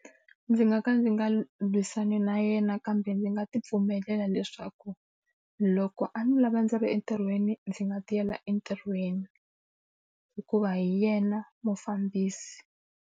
Ndzi nga ka ndzi nga lwisani na yena kambe ndzi nga tipfumelela leswaku loko a ni lava ndzi ri entirhweni, ndzi nga tiyela entirhweni. Hikuva hi yena mufambisi.